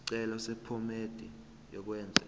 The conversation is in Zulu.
isicelo sephomedi yokwenze